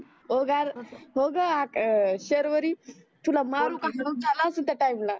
हो गार तस हो ग शर्वरी तुला मारुका रोग झाला असेल त्या टाइम ला